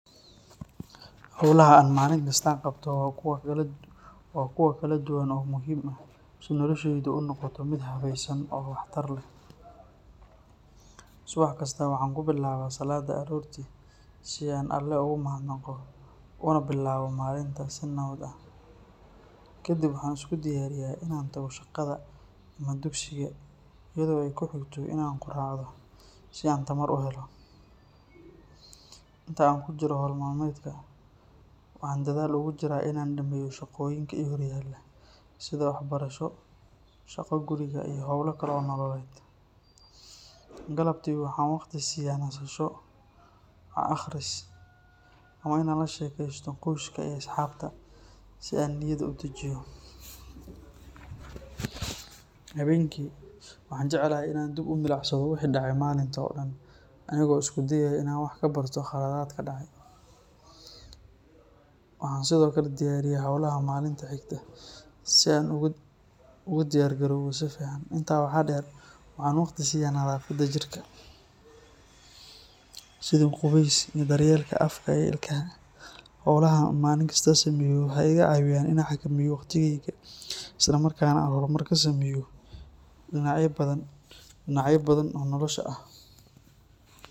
Howlaha aan maalin kasta qabto waa kuwo kala duwan oo muhiim ah si noloshaydu u noqoto mid habaysan oo waxtar leh. Subax kasta waxaan ku bilaabaa salaadda aroortii si aan Alle ugu mahadnaqo una bilaabo maalinta si nabad ah. Kadib waxaan isku diyaariyaa in aan tago shaqada ama dugsiga iyadoo ay ku xigto in aan quraacdo si aan tamar u helo. Inta aan ku jiro hawl maalmeedka, waxaan dadaal ugu jiraa in aan dhammeeyo shaqooyinka i horyaalla sida waxbarasho, shaqo guriga, iyo howlo kale oo nololeed. Galabtii waxaan waqti siiya nasasho, wax akhris, ama inaan la sheekeysto qoyska iyo asxaabta si aan niyadda u dejiyo. Habeenkii waxaan jeclahay in aan dib u milicsado wixii dhacay maalinta oo dhan anigoo isku dayaya in aan wax ka barto khaladaadka dhacay. Waxaan sidoo kale diyaariyaa hawlaha maalinta xigta si aan ugu diyaar garoobo si fiican. Intaa waxaa dheer, waxaan waqti siiya nadaafadda jirka, sidii qubays iyo daryeelka afka iyo ilkaha. Howlahan aan maalin kasta sameeyo waxay iga caawiyaan in aan xakameeyo waqtigeyga, isla markaana aan horumar ka sameeyo dhinacyo badan oo nolosha ah.